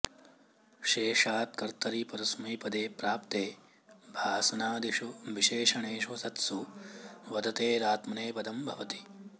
शेषात् कर्तरि परस्मैपदे प्राप्ते भासनाऽदिशु विशेषणेषु सत्सु वदतेरात्मनेपदं भवति